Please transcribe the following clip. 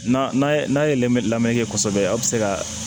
N'a ye n'a ye li la kosɛbɛ a bi se ka